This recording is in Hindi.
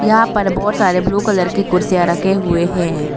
यहां पर बहुत सारे ब्लू कलर की कुर्सियां रखे हुए हैं।